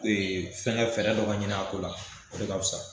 Ee fɛngɛ fɛrɛdɔ ka ɲinin a ko la o de ka fisa